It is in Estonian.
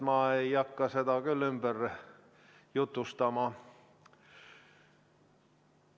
Ma ei hakka seda küll ümber jutustama.